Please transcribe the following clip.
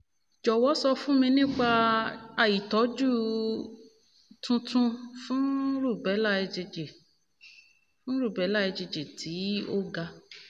jọ̀wọ́ sọ fún mi nípa um ìtọ́jú um tuntun fún rubella igg fún rubella igg tí ó ga